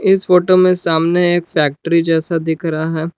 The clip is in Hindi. इस फोटो में सामने एक फैक्ट्री जैसा दिख रहा है।